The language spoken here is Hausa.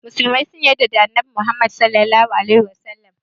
musulmai sun yadda da Annabi Muhammadu.